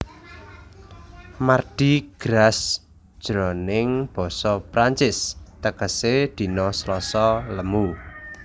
Mardi Gras jroning basa Prancis tegesé dina Slasa lemu